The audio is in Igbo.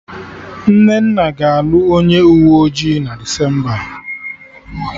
Nnenna ga-alụ onye uwe ọjị na Desemba